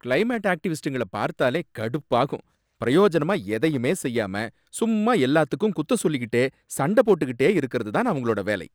Climate ஆக்டிவிஸ்டுங்கள பார்த்தாலே கடுப்பாகும், பிரயோஜனமா எதையுமே செய்யாம சும்மா எல்லாத்துக்கும் குத்தம் சொலிக்கிட்டு சண்ட போட்டுக்கிட்டே இருக்கறது தான் அவங்களோட வேலை.